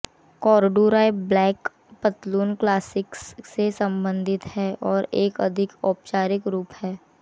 corduroy black पतलून classics से संबंधित हैं और एक अधिक औपचारिक रूप है